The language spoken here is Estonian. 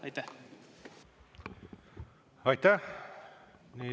Aitäh!